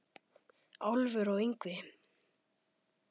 Álfur og Yngvi